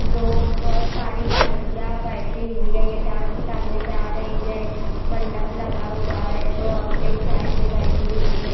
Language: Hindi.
लोग बहोत सारी लड़कियां बैठी हुई है ये डांस करने जा रही है मंडप लगा हुआ है दो औरते एक साइड में बैठी हुई है।